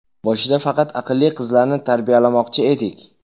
Boshida faqat aqlli qizlarni tarbiyalamoqchi edik.